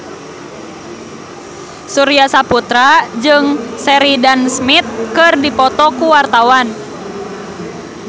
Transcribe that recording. Surya Saputra jeung Sheridan Smith keur dipoto ku wartawan